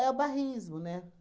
o bairrismo, né?